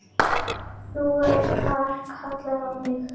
Nú var kallað á mig!